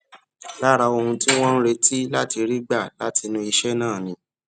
lára ohun tí wón ń retí láti rí gbà látinú iṣé náà ni